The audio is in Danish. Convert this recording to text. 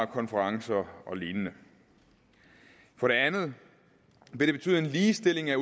konferencer og lignende for det andet vil det betyde en ligestilling af